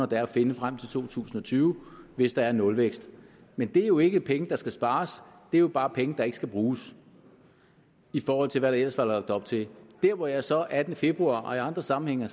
der er at finde frem til to tusind og tyve hvis der er nulvækst men det er jo ikke penge der skal spares det er jo bare penge der ikke skal bruges i forhold til hvad der ellers var lagt op til når jeg så attende februar og i andre sammenhænge har